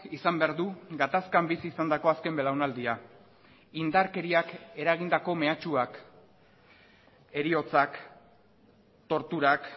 izan behar du gatazkan bizi izandako azken belaunaldia indarkeriak eragindako mehatxuak heriotzak torturak